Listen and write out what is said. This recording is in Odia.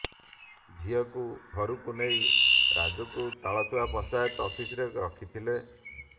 ଝିଅକୁ ଘରକୁ ନେଇ ରାଜୁକୁ ତାଳଚୁଆ ପଞ୍ଚାୟତ ଅଫିସରେ ରଖିଥିଲେ